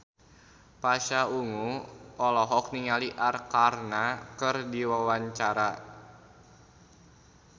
Pasha Ungu olohok ningali Arkarna keur diwawancara